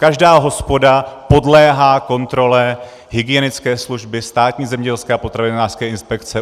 Každá hospoda podléhá kontrole hygienické služby, Státní zemědělské a potravinářské inspekce.